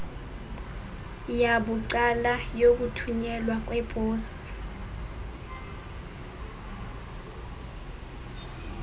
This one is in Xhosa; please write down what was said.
yabucala yokuthunyelwa kweposi